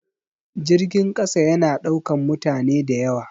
Jirgin ƙasa ya na ɗaukan mutane da yawa